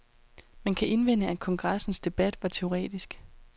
Man kan indvende, at kongressens debat var teoretisk.